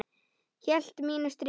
Hélt mínu striki.